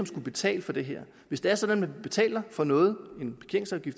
skal betale for det her hvis det er sådan at man betaler for noget